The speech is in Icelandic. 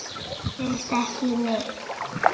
Það gerist ekki neitt.